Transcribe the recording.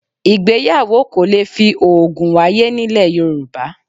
Ìgbéyàwó kò le fi òògùn wáyé nílẹ̀ Yorùbá